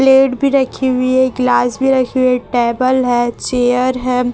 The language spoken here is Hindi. प्लेट भी रखी हुई है गिलास भी रखी हुई है टेबल है चेयर है।